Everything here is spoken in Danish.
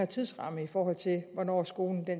tidsramme i forhold til hvornår skolen